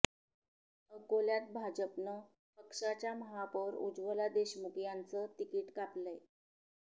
अकोल्यात भाजपनं पक्षाच्या महापौर उज्वला देशमुख यांचं तिकीट कापलंय